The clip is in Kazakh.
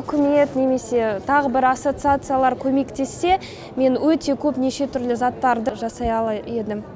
үкімет немесе тағы бір ассоциациялар көмектессе мен өте көп неше түрлі заттарды жасай алай едім